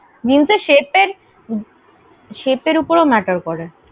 Jeans এর shape এর shape এর উপর ও matter করে।